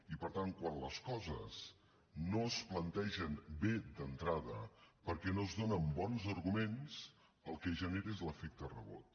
i per tant quan les coses no es plantegen bé d’entrada perquè no es donen bons arguments el que es genera és l’efecte rebot